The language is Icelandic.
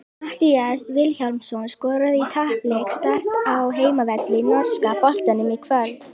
Matthías Vilhjálmsson skoraði í tapleik Start á heimavelli í norska boltanum í kvöld.